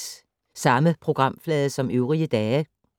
Samme programflade som øvrige dage